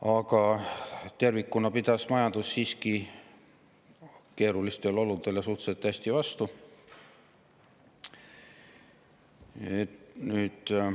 Aga tervikuna pidas majandus keerulistele oludele siiski suhteliselt hästi vastu.